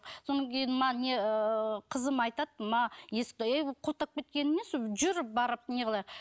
содан кейін не ыыы қызым айтады ма есікті құлттап кеткені несі жүр барып неғылайық